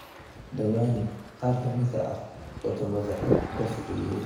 Dhowaan, qaar ka mid ah wadamada xukunka fuliyay ayaa diiday inay ka qeybgalaan.